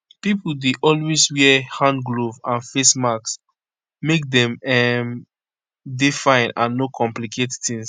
pipo dey always wear hand gloves and face masks make dem um dey fine and no complicate tings